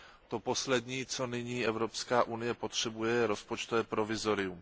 To poslední, co nyní Evropská unie potřebuje, je rozpočtové provizorium.